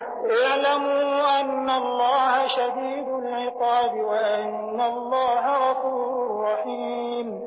اعْلَمُوا أَنَّ اللَّهَ شَدِيدُ الْعِقَابِ وَأَنَّ اللَّهَ غَفُورٌ رَّحِيمٌ